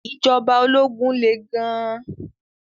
Ìjọba ológun le gan-an.